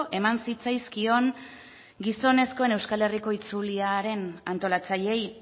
eman zitzaizkion gizonezkoen euskal herriko itzuliaren antolatzaileei